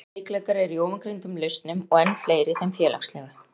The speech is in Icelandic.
Margir veikleikar eru í ofangreindum lausnum og enn fleiri í þeim félagslegu.